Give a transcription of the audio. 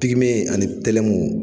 Pigime ani tɛlɛmu